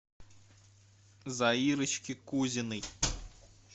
заирочке кузиной